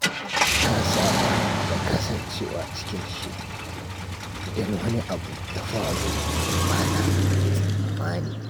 Na saba da kasancewa cikin shiri idan wani abu ya faru da ba na tsammani.